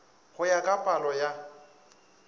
go ya ka palo ya